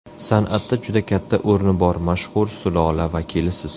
San’atda juda katta o‘rni bor mashhur sulola vakilisiz.